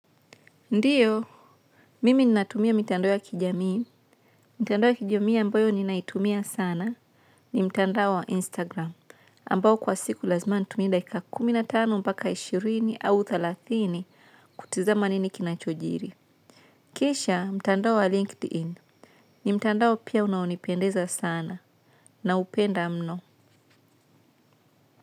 Ndiyo, Mimi ninatumia mitandao ya kijamii. Mitandao ya kijamii ambayo ninaitumia sana ni mtandao wa Instagram. Ambao kwa siku lazima nitumie dakika kumi tano mpaka ishirini au thelathini kutizama nini kinachojiri. Kisha mtandao wa LinkedIn ni mtandao pia unaonipendeza sana na upenda mno.